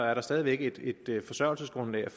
er der stadig væk et et forsørgelsesgrundlag at